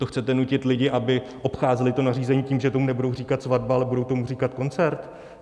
To chcete nutit lidi, aby obcházeli to nařízení tím, že tomu nebudou říkat svatba, ale budou tomu říkat koncert?